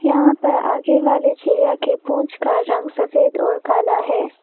यहा पर आगे वाले चिड़िया के पूछ का रंग सफेद और काला है।